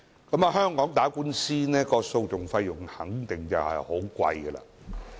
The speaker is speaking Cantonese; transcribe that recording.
在香港打官司，訴訟費用一定很高昂。